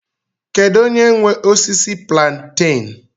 Kedu onye nwe osisi plantain?